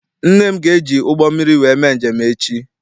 Nne m ga eji ụgbọ mmiri wee mee njem echi.